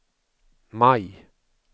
maj